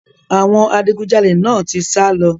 Àwọn adigunjalè náà ti sá lọ.